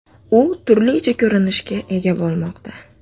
U turlicha ko‘rinishga ega bo‘lmoqda.